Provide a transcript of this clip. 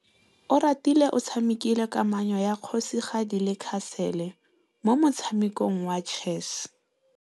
Oratile o tshamekile kananyô ya kgosigadi le khasêlê mo motshamekong wa chess.